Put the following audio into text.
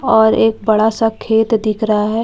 और एक बड़ा सा खेत दिख रहा है जिसपे--